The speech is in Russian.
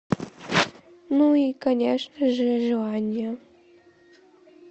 ну и конечно же желание